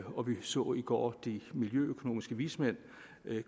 og vi så i går de miljøøkonomiske vismænd